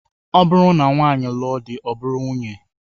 Ọ bụrụ na nwaanyị lụọ di, ọ bụrụ nwunye